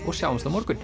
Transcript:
og sjáumst á morgun